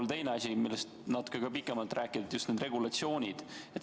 Ja teine asi, millest natuke pikemalt võiks rääkida, on regulatsioonid.